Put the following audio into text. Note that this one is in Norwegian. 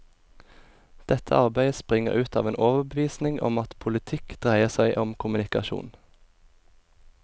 Dette arbeidet springer ut av en overbevisning om at politikk dreier seg om kommunikasjon.